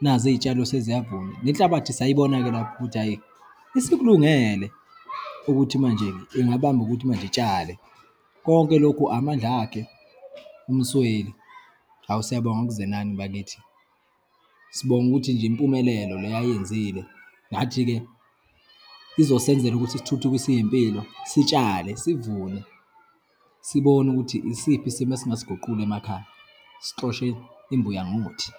nazi iyitshalo seziyavuna. Le nhlabathi sayibona-ke lapho ukuthi hhayi, isikulungele ukuthi manje ingabamba ukuthi manje itshale. Konke lokhu amandla akhe uMsweli. Hawu, siyabonga kuZenani bakithi. Sibonga ukuthi nje impumelelo le ayenzile, ngathi-ke izosenzela ukuthi sithuthukise iyimpilo, sitshale sivume, sibone ukuthi isiphi isimo esingasiguqula emakhaya, sixoshe imbuya ngothi.